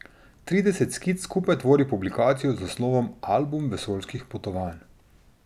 Trideset skic skupaj tvori publikacijo z naslovom Album vesoljskih potovanj.